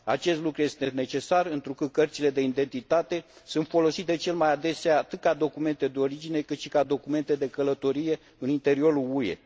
Acest lucru este necesar întrucât cărțile de identitate sunt folosite cel mai adesea atât ca documente de origine, cât și ca documente de călătorie în înteriorul UE.